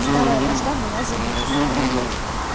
старая вражда была забыта